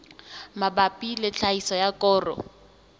mabapi le tlhahiso ya koro